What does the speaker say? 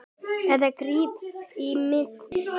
Eða greip í spil.